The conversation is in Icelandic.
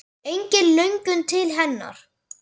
Engin löngun til hennar.